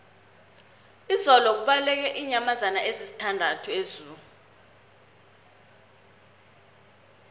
izolo kubaleke iinyamazana ezisithandathu ezoo